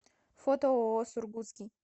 фото ооо сургутский